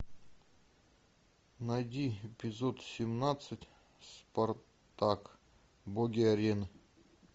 найди эпизод семнадцать спартак боги арены